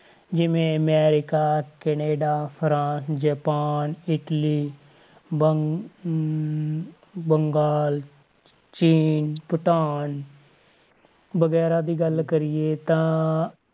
ਜਿਵੇਂ America Canada France Japan Italy ਬੰ~ ਅਹ ਬੰਗਾਲ ਚੀਨ 'ਚ ਭੂਟਾਨ ਵਗ਼ੈਰਾ ਦੀ ਗੱਲ ਕਰੀਏ ਤਾਂ,